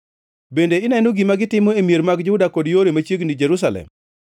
Bende ineno gima gitimo e mier mag Juda kod yore mag Jerusalem?